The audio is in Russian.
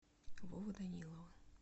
вовы данилова